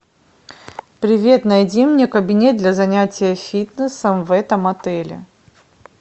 привет найди мне кабинет для занятия фитнесом в этом отеле